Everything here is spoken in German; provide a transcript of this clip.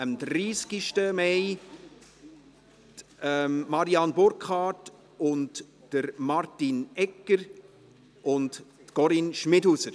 am 30. Mai waren es Marianne Burkhard, Martin Egger und Corinne Schmidhauser.